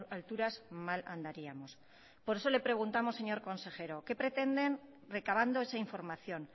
alturas mal andaríamos por eso le preguntamos señor consejero qué pretenden recabando esa información